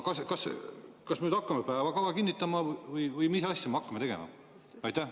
Aga kas me hakkame päevakava kinnitama või mis asja me hakkame tegema?